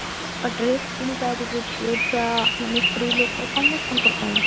ଆଉ ଡ୍ରେସ କିଣିପାରିବୁ ଝିଅ ଛୁଆ ମାନେ ସ୍ତ୍ରୀ ଲୋକ ସମସ୍ତଙ୍କ ପାଇଁ